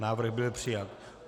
Návrh byl přijat.